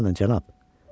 Dayanın, cənab.